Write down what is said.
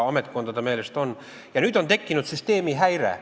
Nüüd on tekkinud süsteemi häire.